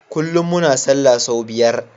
Kullun muna sallah sau biyar